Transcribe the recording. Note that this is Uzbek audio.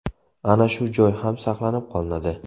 Ana shu joy ham saqlanib qolinadi.